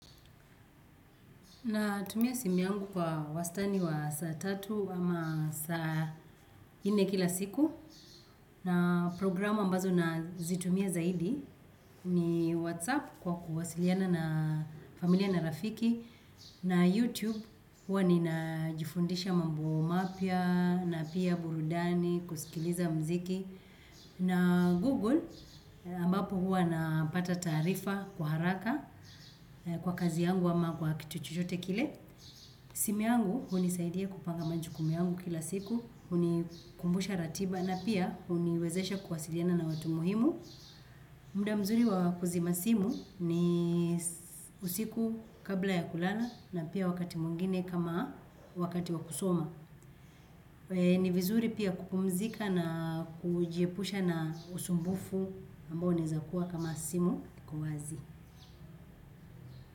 Natumia simu yangu kwa wastani wa saa tatu ama saa nne kila siku. Na programu ambazo nazitumia zaidi ni Whatsapp kwa kuwasiliana na familia na rafiki. Na Youtube huwa ninajifundisha mambo mapya na pia burudani kusikiliza muziki. Na Google ambapo huwa napata taarifa kwa haraka kwa kazi yangu ama kwa kitu chochote kile. Simu yangu hunisaidia kupanga majukumu yangu kila siku, hunikumbusha ratiba na pia huniwezesha kuwasiliana na watu muhimu. Muda mzuri wa kuzima simu ni usiku kabla ya kulala na pia wakati mwingine kama ni wakati wa kusoma ni vizuri pia kupumzika na kujiepusha na usumbufu ambao unaezakuwa kama simu kwa wazi.